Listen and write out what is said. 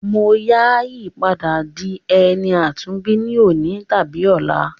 Mo ya yi padà di ẹni àtúnbí ni òní tàbí ọla.